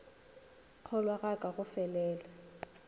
kgolwa ga ka go felela